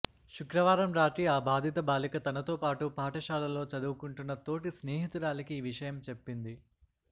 శుక్రవారం రాత్రి ఆ బాధిత బాలిక తనతో పాటు పాఠశాలలో చదువుకుంటున్న తోటి స్నేహితురాలికి ఈ విషయం చెప్పింది